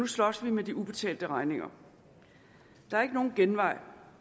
slås nu med de ubetalte regninger der er ikke nogen genvej